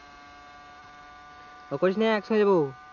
করিস না একসাথে যাবো।